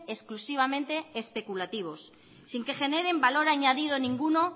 exclusivamente especulativos sin que generen valor añadido ninguno